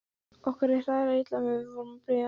Okkur leið hræðilega illa meðan við vorum að bíða.